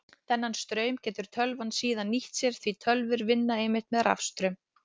Þennan straum getur tölvan síðan nýtt sér því tölvur vinna einmitt með rafstraum.